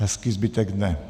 Hezký zbytek dne.